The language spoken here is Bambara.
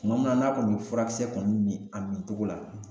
Tuma min na n'a kɔni be furakisɛ kɔni min a min cogo la